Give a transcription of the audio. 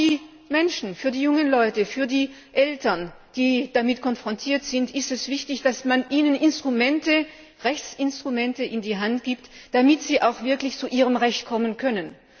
Aber auch für die Menschen, für die jungen Leute, für die Eltern, die damit konfrontiert sind, ist es wichtig, dass man ihnen Rechtsinstrumente an die Hand gibt, damit sie auch wirklich zu ihrem Recht kommen können.